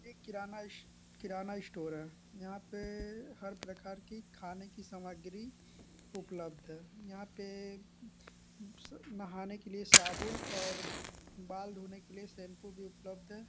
एक किराना स्टो किराना स्टोर है यहां पे हर प्रकार की खाने की सामग्री उपलब्ध है यहां पे नहाने के लिए साबुन और बाल धोने के लिए शैम्पू भी उपलब्ध है।